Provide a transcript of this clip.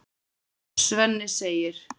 Svenni segir